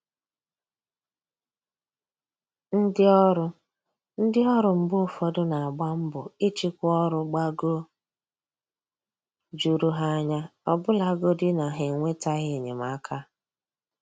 Ndị ọrụ Ndị ọrụ mgbe ụfọdụ n'agba mbọ ịchịkwa ọrụ gbagoo jụrụ ha anya, ọbụlagodi na ha enwetaghị enyemaka